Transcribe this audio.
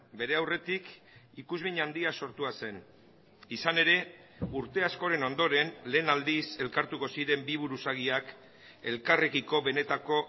bere aurretik ikusmin handia sortua zen izan ere urte askoren ondoren lehen aldiz elkartuko ziren bi buruzagiak elkarrekiko benetako